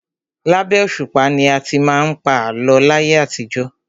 Labẹ́ òṣùpá ni a ti má ń pa àlọ́ láyé àtijọ́.